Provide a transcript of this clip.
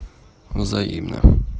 взаимно